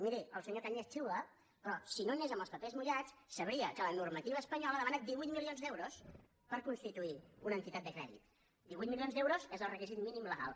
miri el senyor cañas xiula però si no anés amb els papers mullats sabria que la normativa espanyola demana divuit milions d’euros per constituir una entitat de crèdit divuit milions d’euros és el requisit mínim legal